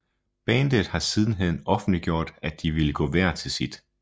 Bandet har sidenhen offentliggjort at de ville gå hver til sit